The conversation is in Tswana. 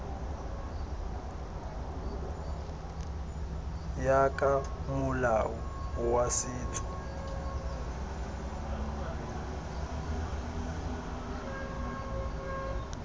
ya ka molao wa setso